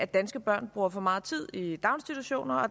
danske børn bruger for meget tid i daginstitutionerne og